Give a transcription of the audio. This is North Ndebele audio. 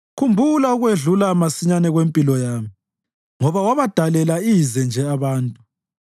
Khumbula ukwedlula masinyane kwempilo yami. Ngoba wabadalela ize nje abantu!